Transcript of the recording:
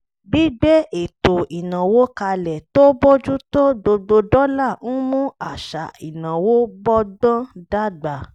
gbígbé ètò ìnáwó kalẹ̀ tó bójú tó gbogbo dọ́là ń mú àṣà ìnáwó bọ́gbọ́n dàgbà